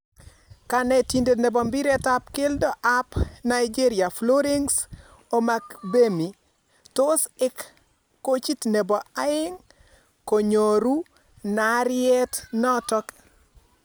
Kanetindet nebo mpiret ap keldo ap nigeria, Florence Omagbemi, tos eek koochit nebo aeng' konyooru naaryeet nootok